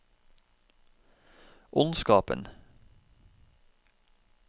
ondskapen